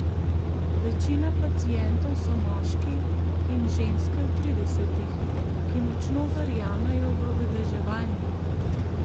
Večina pacientov so moški in ženske v tridesetih, ki močno verjamejo v vedeževanje.